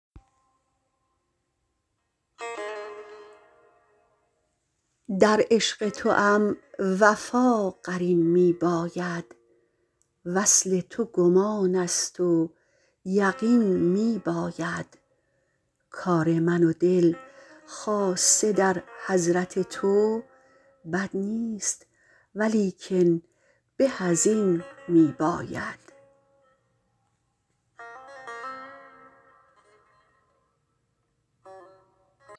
در عشق توام وفا قرین میباید وصل تو گمانست و یقین میباید کار من و دل خاصه در حضرت تو بد نیست و لیکن به از این میباید